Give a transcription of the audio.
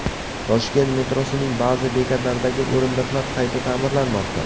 Toshkent metrosining ba’zi bekatlaridagi o‘rindiqlar qayta ta’mirlanmoqda.